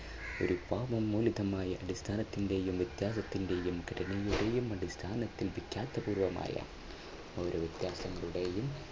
ഒരു പാപ്പ മൂല്യതമായ അടിസ്ഥാനത്തിന്റെ വ്യത്യാസത്തിന്റെയും കരുണയുടെയുംഅടിസ്ഥാനത്തിൽ വിഖ്യാത പൂർവ്വമായ